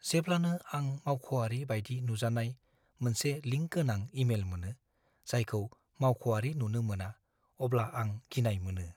जेब्लानो आं मावख'आरि बायदि नुजानाय मोनसे लिंक गोनां इमेल मोनो, जायखौ मावख'आरि नुनो मोना, अब्ला आं गिनाय मोनो।